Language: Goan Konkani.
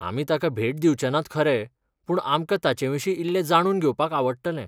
आमी ताका भेट दिवचेनात खरे, पूण आमकां ताचेविशीं इल्लें जाणून घेवपाक आवडटलें.